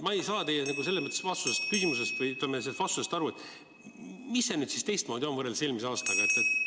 Ma ei saa selles mõttes sellest vastusest aru – et mis see nüüd siis teistmoodi on võrreldes eelmise aastaga?